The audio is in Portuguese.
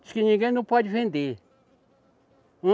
Diz que ninguém não pode vender.